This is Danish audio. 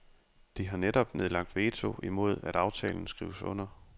De har netop nedlagt veto imod at aftalen skrives under.